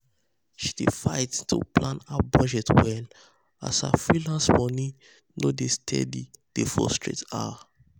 she dey fight um to plan her budget well as her freelance money no dey steady dey frustrate um her.